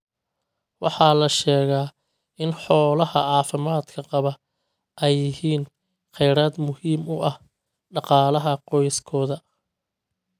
Waxaa la sheegaa in xoolaha caafimaadka qaba ay yihiin kheyraad muhiim u ah dhaqaalaha qoyskooda.